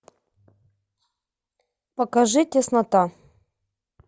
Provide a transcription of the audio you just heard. покажи теснота